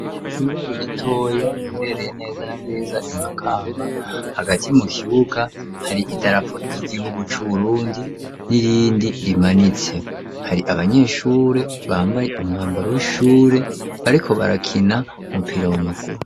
Ishure ritoya riherereye neza na neza Imakamba, hagati mu kibuga hari idarapo ry'igihugu c'Uburundi n'irindi rimanitse. Hari abanyeshure bambaye umwambaro w'ishure, bariko barakina umupira w'amaguru.